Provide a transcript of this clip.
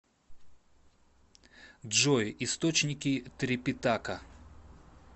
джой источники трипитака